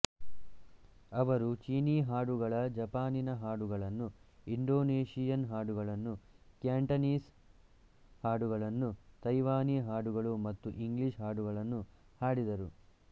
ಅವರು ಚೀನೀ ಹಾಡುಗಳ ಜಪಾನಿನ ಹಾಡುಗಳನ್ನು ಇಂಡೋನೇಶಿಯನ್ ಹಾಡುಗಳನ್ನು ಕ್ಯಾಂಟನೀಸ್ ಹಾಡುಗಳನ್ನು ಥೈವಾನೀ ಹಾಡುಗಳು ಮತ್ತು ಇಂಗ್ಲೀಷ್ ಹಾಡುಗಳನ್ನು ಹಾಡಿದರು